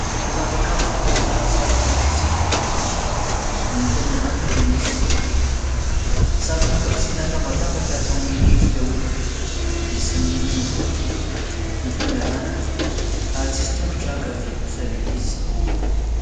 Zavakanto vita avy amin'ny sarona kapisily. Ny ety amin'ny havanana, dia misy sarona kapisily natambatambatra ary manome endrika olona, misy nonony roa, ny tongony havanana, ary tsisy tongotra ankavy kosa ilay izy.